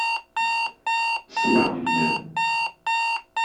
севилья